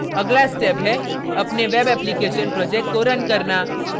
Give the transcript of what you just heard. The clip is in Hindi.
अगला step है अपने web application project को रन करना